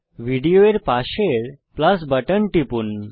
video এর পাশের plus button টিপুন